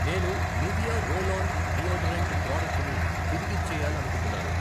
నేను Nivea roll on deodorant ప్రాడక్టుని తిరిగిచ్చేయాలనుకుంటున్నాను.